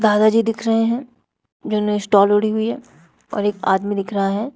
दादा जी दिख रहे हैं जिन्होंने स्टॉल ओढ़ी हुई है और एक आदमी दिख रहा है।